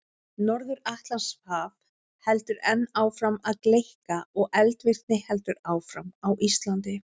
Norður-Atlantshaf heldur enn áfram að gleikka og eldvirkni heldur áfram á Íslandi.